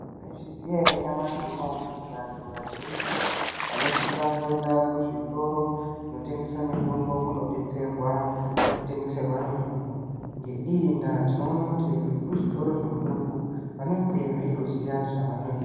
Mwaizviziya ere nyamashi unouyu kuti vantu vazhinji vanosisa kuenda kuzvitoro kunotengeswa mitombo kunodetserwa nekutengeserwa mitombo ngeiyi ndaa tinoona kuti vekuzvitoro zvemutombo vanenge vetoziya zvavanoita.